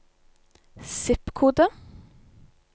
zip-kode